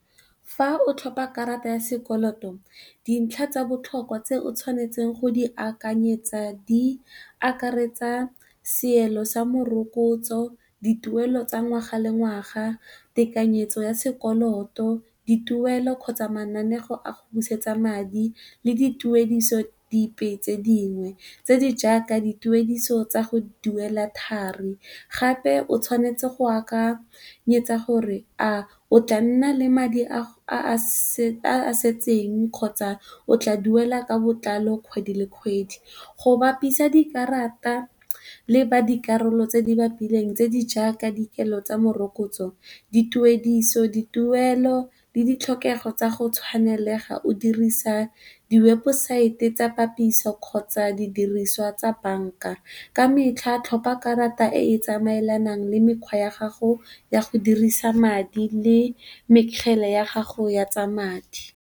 Fa o tlhopa karata ya sekoloto dintlha tsa botlhokwa tse o tshwanetseng go di akanyetsa di akaretsa seelo sa morokotso, dituelo tsa ngwaga le ngwaga, tekanyetso ya sekoloto, dituelo kgotsa mananeo a go busetsa madi le dituediso dipe tse dingwe, tse di jaaka dituediso tsa go duela thari. Gape o tshwanetse go akanyetsa gore a o tla nna le madi a a setseng kgotsa o tla duela ka botlalo kgwedi le kgwedi go bapisa dikarata le ba dikarolo tse di bapileng tse di jaaka dikelo tsa morokotso, dituediso, dituelo le ditlhokego tsa go tshwanelega o dirisa di webesaete tsa dipapiso kgotsa di diriswa tsa banka ka metlha, tlhopha karata e tsamaelanang le mekgwa ya gago ya go dirisa madi le mekgele ya gago ya tsa madi.